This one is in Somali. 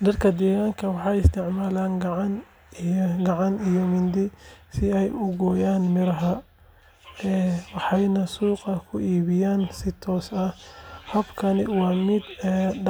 Dadka deegaanka waxay isticmaalaan gacan iyo mindi si ay u gooyaan miraha, waxayna suuqa ku iibiyaan si toos ah. Habkani waa mid dhaqaale u soo hoya beeraleyda.